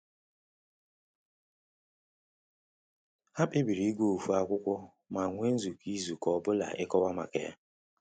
Ha kpebiri ịgụ ofu akwụkwọ ma nwe nzukọ izu ka ọbụla ịkọwa maka ya